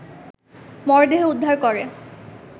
মরদেহ উদ্ধার করে